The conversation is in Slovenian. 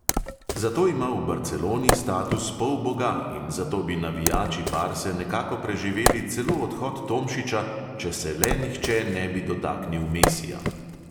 Zato ima v barceloni status polboga in zato bi navijači barse nekako preživeli celo odhod tomšiča, če se le nihče ne bi dotaknil mesija.